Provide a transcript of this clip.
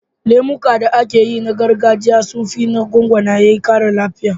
Lemukan da ake yi na gargajiya sun fi na gwangwani ƙara lafiya.